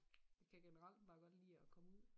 Jeg kan generelt bare godt lide at komme ud